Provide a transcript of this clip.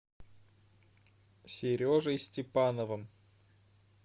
сережей степановым